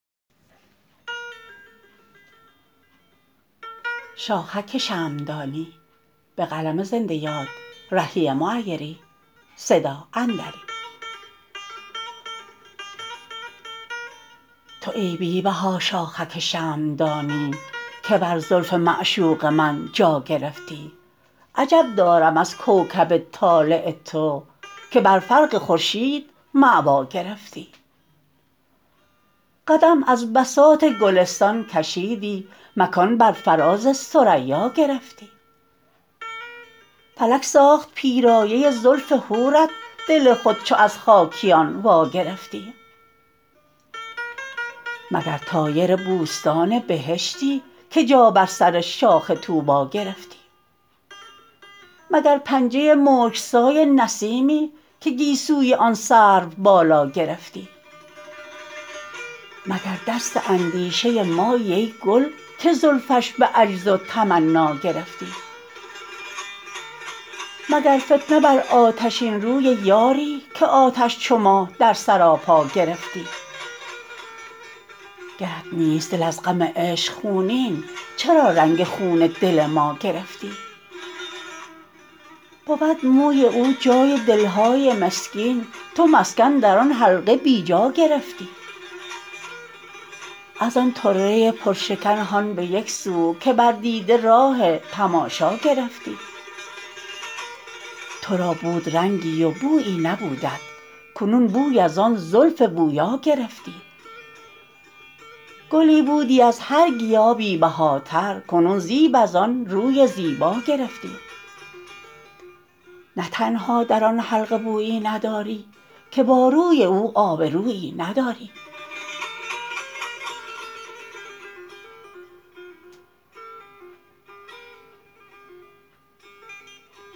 تو ای بی بها شاخک شمعدانی که بر زلف معشوق من جا گرفتی عجب دارم از کوکب طالع تو که بر فرق خورشید مأوا گرفتی قدم از بساط گلستان کشیدی مکان بر فراز ثریا گرفتی فلک ساخت پیرایه زلف حورت دل خود چو از خاکیان واگرفتی مگر طایر بوستان بهشتی که جا بر سر شاخ طوبی گرفتی مگر پنجه مشک سای نسیمی که گیسوی آن سروبالا گرفتی مگر دست اندیشه مایی ای گل که زلفش به عجز و تمنا گرفتی مگر فتنه بر آتشین روی یاری که آتش چو ما در سراپا گرفتی گرت نیست دل از غم عشق خونین چرا رنگ خون دل ما گرفتی بود موی او جای دل های مسکین تو مسکن در آن حلقه بی جا گرفتی از آن طره پرشکن هان به یک سو که بر دیده راه تماشا گرفتی تو را بود رنگی و بویی نبودت کنون بوی ازآن زلف بویا گرفتی گلی بودی از هر گیا بی بهاتر کنون زیب از آن روی زیبا گرفتی نه تنها در آن حلقه بویی نداری که با روی او آبرویی نداری